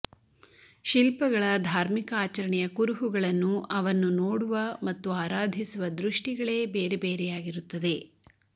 ಶಿಲ್ಪಗಳ ಧಾರ್ಮಿಕ ಆಚರಣೆಯ ಕುರುಹುಗಳನ್ನು ಅವನ್ನು ನೋಡುವ ಮತ್ತು ಆರಾಧಿಸುವ ದೃಷ್ಟಿಗಳೇ ಬೇರೆ ಬೇರೆಯಾಗಿರುತ್ತದೆ